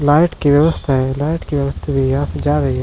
Light की व्यवस्था light की व्यवस्था यहाँ से की जा रही है।